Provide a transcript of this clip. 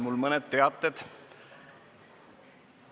Mul on mõned teated.